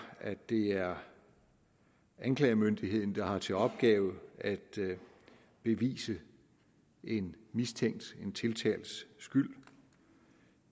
at det er anklagemyndigheden der har til opgave at bevise en mistænkt og tiltalts skyld